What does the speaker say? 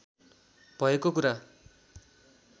भएको कुरा